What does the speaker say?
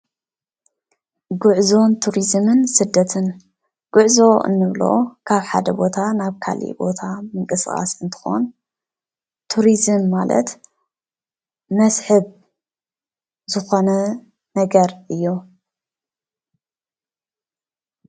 ጉዕዞን ቱሪዝምን ስደትን ጉዕዞ እንብሎ ካብ ሓደ ቦታ ናብ ካሊእ ቦታ ምንቅስቃስ እንትኾን፣ ቱሪዝም ማለት መስሕብ ዝኾነ ነገር እዩ፡፡